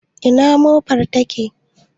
Ina mofar take?